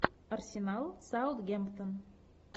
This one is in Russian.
арсенал саутгемптон